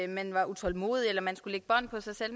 man var utålmodig eller man skulle lægge bånd på sig selv